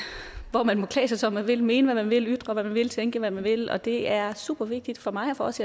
hvor man må klæde sig som man vil mene hvad man vil ytre hvad man vil tænke hvad man vil og det er super vigtigt for mig og for os